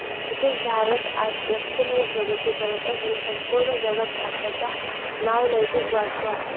तसेच भारत आज लक्षणीय प्रगती करत असून संपूर्ण जगात भारताचा नावलौकिक वाढतो आहे